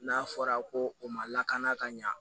N'a fɔra ko o ma lakana ka ɲa